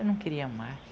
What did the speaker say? Eu não queria mais.